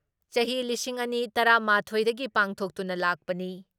ꯆꯍꯤ ꯂꯤꯁꯤꯡ ꯑꯅꯤ ꯇꯔꯥ ꯃꯥꯊꯣꯏ ꯗꯒꯤ ꯄꯥꯡꯊꯣꯛꯇꯨꯅ ꯂꯥꯛꯄꯅꯤ ꯫